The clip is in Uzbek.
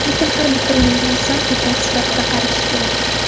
Lekin har bitta o‘limga inson ibrat sifatida qarashi kerak.